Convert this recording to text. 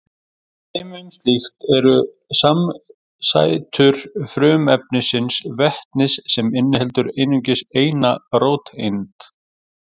Dæmi um slíkt eru samsætur frumefnisins vetnis sem inniheldur einungis eina róteind.